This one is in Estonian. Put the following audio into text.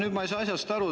Ma ei saa enam asjast aru.